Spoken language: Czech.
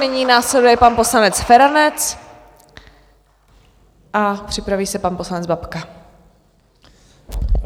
Nyní následuje pan poslanec Feranec a připraví se pan poslanec Babka.